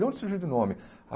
De onde surgiu de nome?